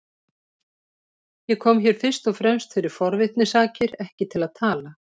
Ég kom hér fyrst og fremst fyrir forvitni sakir, ekki til að tala.